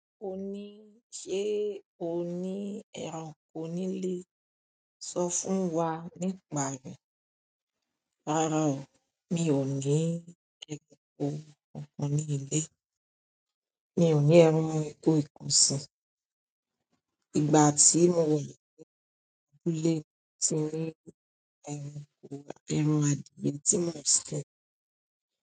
O ní, "Ṣé o ní ẹranko nílé?" Sọ fún wa ní ìpàrí, "Rárá o, mi ò ní ẹranko kankan nílé. Mi ò ní ẹranko nkan ọ̀sìn. Ìgbà tí mo wẹ̀ lẹ́yìn abúlé tí mo ní ẹranko, ẹran àdìrẹ tí mo ń sè."